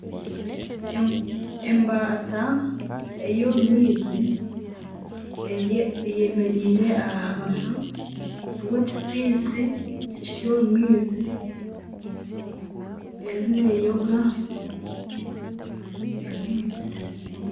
Embata ey'omu maizi ayemereire aha rubaju rw'ekitsitsi ekiri omu maizi erimu neyonga amaizi